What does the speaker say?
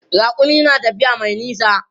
Raƙumi na tafiya mai nisa.